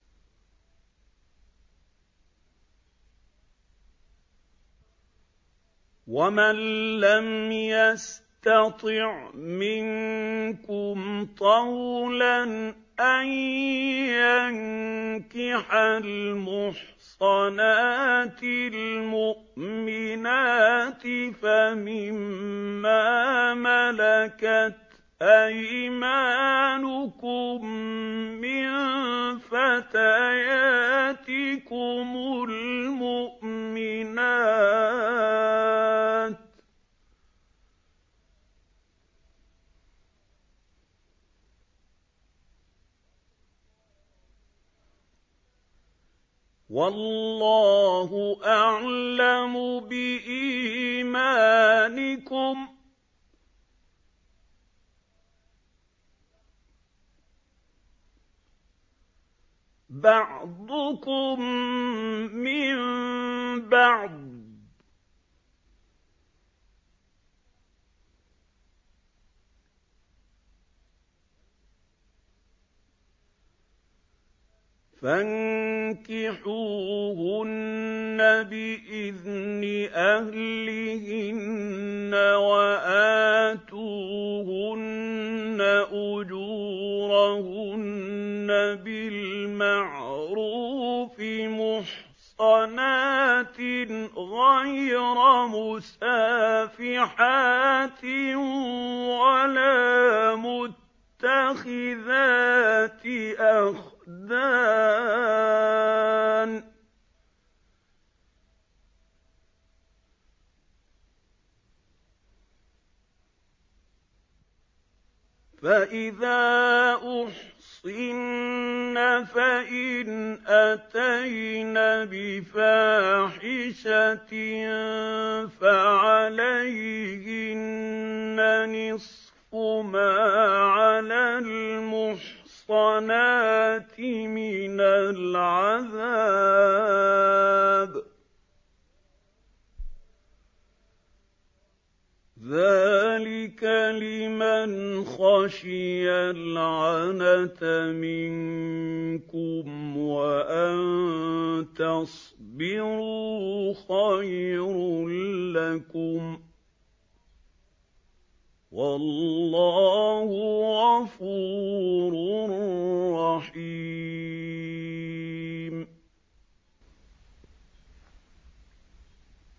وَمَن لَّمْ يَسْتَطِعْ مِنكُمْ طَوْلًا أَن يَنكِحَ الْمُحْصَنَاتِ الْمُؤْمِنَاتِ فَمِن مَّا مَلَكَتْ أَيْمَانُكُم مِّن فَتَيَاتِكُمُ الْمُؤْمِنَاتِ ۚ وَاللَّهُ أَعْلَمُ بِإِيمَانِكُم ۚ بَعْضُكُم مِّن بَعْضٍ ۚ فَانكِحُوهُنَّ بِإِذْنِ أَهْلِهِنَّ وَآتُوهُنَّ أُجُورَهُنَّ بِالْمَعْرُوفِ مُحْصَنَاتٍ غَيْرَ مُسَافِحَاتٍ وَلَا مُتَّخِذَاتِ أَخْدَانٍ ۚ فَإِذَا أُحْصِنَّ فَإِنْ أَتَيْنَ بِفَاحِشَةٍ فَعَلَيْهِنَّ نِصْفُ مَا عَلَى الْمُحْصَنَاتِ مِنَ الْعَذَابِ ۚ ذَٰلِكَ لِمَنْ خَشِيَ الْعَنَتَ مِنكُمْ ۚ وَأَن تَصْبِرُوا خَيْرٌ لَّكُمْ ۗ وَاللَّهُ غَفُورٌ رَّحِيمٌ